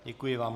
Děkuji vám.